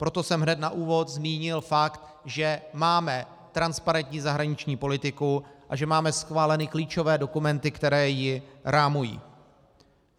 Proto jsem hned na úvod zmínil fakt, že máme transparentní zahraniční politiku a že máme schváleny klíčové dokumenty, které ji rámují.